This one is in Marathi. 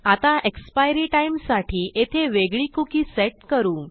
आता एक्सपायरी timeसाठी येथे वेगळी कुकी सेट करू